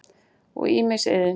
og ýmis iðn.